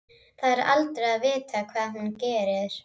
Það er aldrei að vita hvað hún gerir.